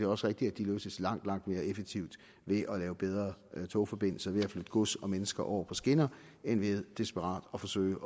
også rigtigt at de løses langt langt mere effektivt ved at lave bedre togforbindelser ved at flytte gods og mennesker over på skinner end ved desperat at forsøge